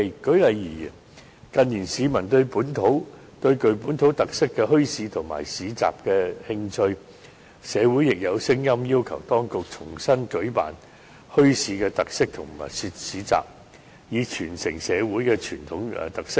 舉例而言，近年市民對具本土特色的墟市和市集感興趣，社會亦有聲音要求當局重新舉辦墟市或特色市集，以傳承社會的傳統特色。